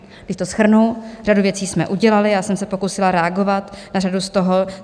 Když to shrnu, řadu věcí jsme udělali, já jsem se pokusila reagovat na řadu z toho.